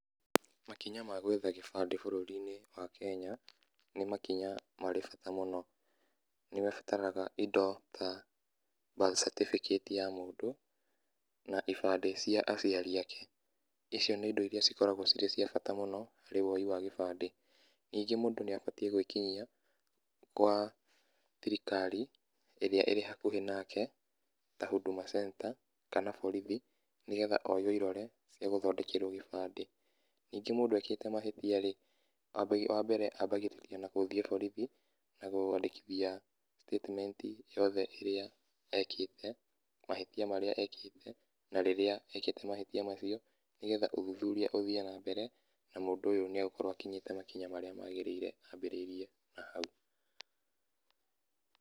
Makinya ma gwetha kĩbandĩ bũrũrinĩ wa Kenya nĩmakinya marĩ bata mũno. Nĩũbataraga indo ta birth certificate ya mũndũ na ibandĩ cia aciari ake icio nĩ indo iria cikoragwo cirĩ cia bata mũno harĩ woi wa gĩbandĩ, ningĩ mũndũ nĩbatie gwĩkinyia gwa thirikari ĩrĩa ĩ hakuhĩ nake ta Huduma centre kana borithi nĩgetha oywo irore cia gũthondekerwo gĩbandĩ. Ningĩ mũndũ ekĩte mahĩtia rĩ ,wambere ambagirĩrĩa na gũthie borithi kwandĩkithia statement yothe ĩrĩa ekĩte, mahĩtia marĩa ekĩte na rĩrĩa ekĩte mahĩtia macio nĩgetha ũthũthũria ũthie na mbere na mũndũ ũyũ nĩagũkorwo akinyĩte makinya marĩa magĩrĩire ambĩrĩria na hau.